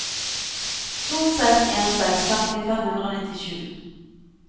to seks en seks femti fem hundre og nittisju